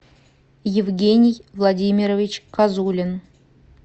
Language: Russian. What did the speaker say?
евгений владимирович козулин